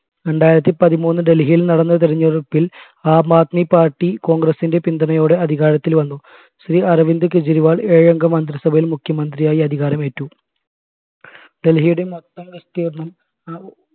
രണ്ടായിരത്തി പതിമൂന്നിൽ ഡൽഹിയിൽ നടന്ന തെരഞ്ഞെടുപ്പിൽ ആം ആദ്മി party congress ന്റെ പിന്തുണയോടെ അധികാരത്തിൽ വന്നു ശ്രീ അരവിന്ദ് കെജ്രിവാൾ ഏഴംഗ മന്ത്രിസഭയിൽ മുഖ്യമന്ത്രിയായി അധികാരം ഏറ്റു ഡൽഹിയുടെ മൊത്തം